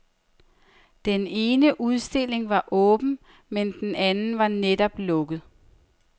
Den ene udstilling var åben, men den anden var netop lukket.